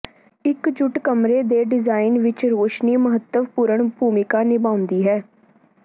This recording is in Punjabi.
ਇਕਜੁਟ ਕਮਰੇ ਦੇ ਡਿਜ਼ਾਇਨ ਵਿਚ ਰੋਸ਼ਨੀ ਮਹੱਤਵਪੂਰਣ ਭੂਮਿਕਾ ਨਿਭਾਉਂਦੀ ਹੈ